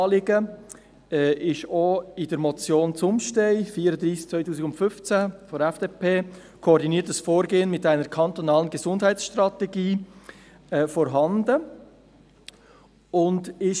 Ein ähnliches Anliegen wird auch in der Motion von Katrin Zumstein mit dem Titel «Koordiniertes Vorgehen mit einer kantonalen Gesundheitsstrategie» geäussert.